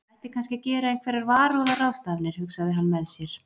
Ég ætti kannski að gera einhverjar varúðarráðstafanir, hugsaði hann með sér.